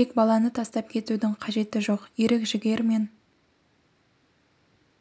тек баланы тастап кетудіңқажеті жоқ ерік-жігер мен